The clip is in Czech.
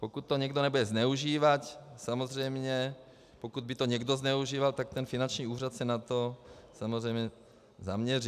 Pokud to někdo nebude zneužívat, samozřejmě, pokud by to někdo zneužíval, tak ten finanční úřad se na to samozřejmě zaměří.